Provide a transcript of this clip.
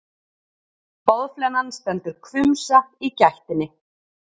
Boðflennan stendur hvumsa í gættinni.